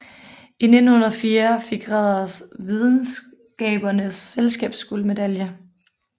I 1904 fik Ræder Videnskabernes Selskabs guldmedalje